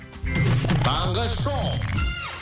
таңғы шоу